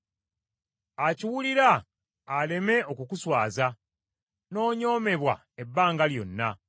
akiwulira aleme okukuswaza; n’onyoomebwa ebbanga lyonna.